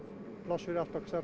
pláss fyrir allt okkar